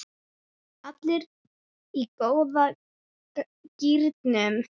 Allir í góða gírnum.